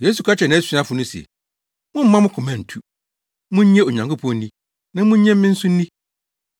Yesu ka kyerɛɛ nʼasuafo no se, “Mommma mo koma ntu. Munnye Onyankopɔn nni na munnye me nso nni.